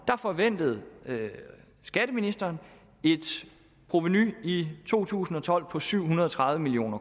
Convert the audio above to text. forventede skatteministeren et provenu i to tusind og tolv på syv hundrede og tredive million